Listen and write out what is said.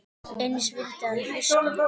Eins vildi hann hlusta.